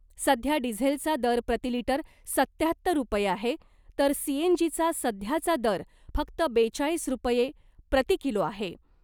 सध्या डिझेलचा दर प्रति लिटर सत्याहत्तर रुपये आहे , तर सीएनजीचा सध्याचा दर फक्त बेचाळीस रुपये प्रति किलो आहे .